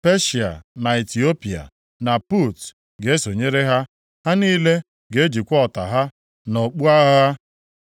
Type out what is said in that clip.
Peshịa na Itiopia, + 38:5 Maọbụ, Kush. na Put, ga-esonyere ha, ha niile ga-ejikwa ọta ha na okpu agha ha.